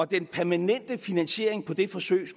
den permanente finansiering på det forsøg